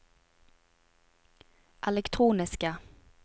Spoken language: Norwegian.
elektroniske